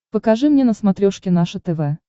покажи мне на смотрешке наше тв